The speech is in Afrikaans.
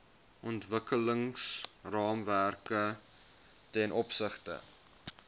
ontwikkelingsraamwerk ten opsigte